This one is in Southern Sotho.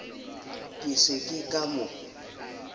ke se ke ka mo